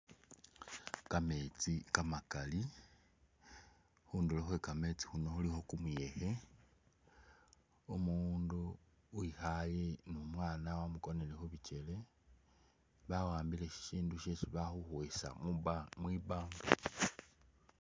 Kametsi kamakali khundulo khwe kametsi khuno khulikho kumuyekhe, umundu wikhaye ni umwana wamukonele khu bikyele, bawambile shishindu shesi bali khukhwesa mwibanga.